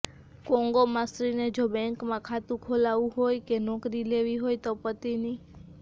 કોંગોમાં સ્ત્રીને જો બેંકમાં ખાતું ખોલાવવું હોય કે નોકરી લેવી હોય તો પતિની